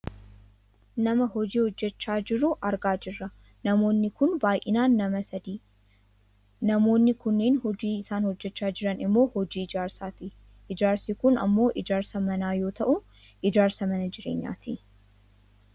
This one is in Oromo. Nama hojii hojjachaa jiru argaa jirra namoonni kun baayyinaan Nama sadidah. Namoonni kunneen hojiin isaan hojjachaa jiran ammoo hojii ijaarsaati. Ijaarsi kun ammoo ijaarsa manaa yoo ta'u, ijaarsa mana jireenyaati.